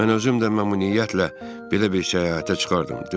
Mən özüm də məmnuniyyətlə belə bir səyahətə çıxardım.